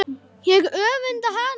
Ég öfunda hana.